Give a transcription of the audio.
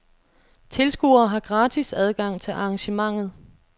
Tilskuere har gratis adgang til arrangementet.